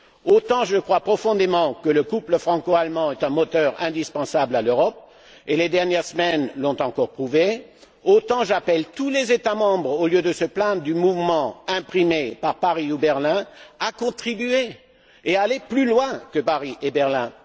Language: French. Autant je crois profondément que le couple franco allemand est un moteur indispensable à l'Europe les dernières semaines l'ont encore prouvé autant j'appelle tous les États membres, au lieu de se plaindre du mouvement imprimé par Paris ou Berlin, à contribuer et à aller plus loin que Paris et Berlin.